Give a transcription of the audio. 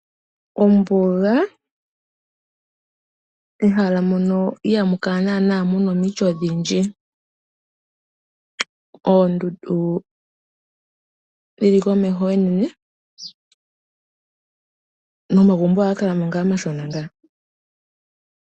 Ombuga ,ehala mono iha mukala mu na omiti odhindji. Oondundu dhili komeho oonene nomagumbo oha ga kalamo omashona.